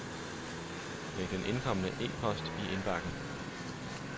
Læg den indkomne e-post i indbakken.